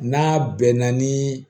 N'a bɛnna ni